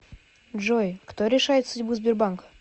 джой кто решает судьбу сбербанка